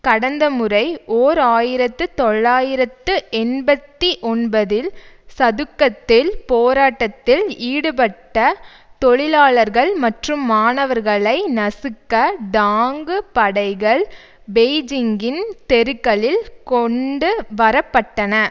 கடந்த முறை ஓர் ஆயிரத்து தொள்ளாயிரத்து எண்பத்தி ஒன்பதில் சதுக்கத்தில் போராட்டத்தில் ஈடுபட்ட தொழிலாளர்கள் மற்றும் மாணவர்களை நசுக்க டாங்கு படைகள் பெய்ஜீங்கின் தெருக்களில் கொண்டு வரப்பட்டன